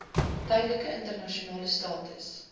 tydelike internasionale status